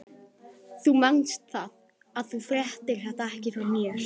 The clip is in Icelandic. Þú manst það, að þú fréttir þetta ekki frá mér.